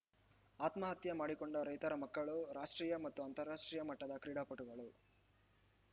ಆತ್ಮಹತ್ಯೆ ಮಾಡಿಕೊಂಡ ರೈತರ ಮಕ್ಕಳು ರಾಷ್ಟ್ರೀಯ ಮತ್ತು ಅಂತಾರಾಷ್ಟ್ರೀಯ ಮಟ್ಟದ ಕ್ರೀಡಾಪಟುಗಳು